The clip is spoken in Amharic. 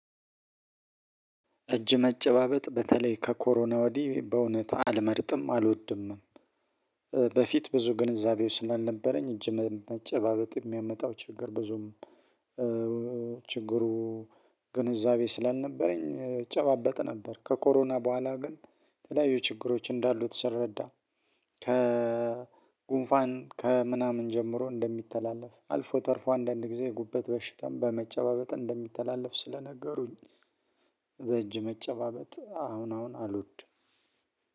እጅ መጨባበጥ በተለይ ከኮሮና ወዲህ በእውነት አልመርጥም አልወድም። በፊት ብዙ ግንዛቤው ስናልነበረኝ እጅ መጨባበጥ የሚያመጣው ችግር ብዙም። ችግሩ ግንዛቤ ስላልነበረኝ እጨባበጥ ነበር ከኮሮና በኋላ ግን ተለያዩ ችግሮች እንዳሉት ስረዳ። ከጉንፋን ከምናምን ጀምሮ እንደሚተላለፍ አልፎ ተርፎ አንዳንድ ጊዜ ጉበት በሽታም በመጨባበጥ እንደሚተላለፍ ስለነገሩኝ። በእጅ መጨባበጥ አሁን አሁን አልወድም።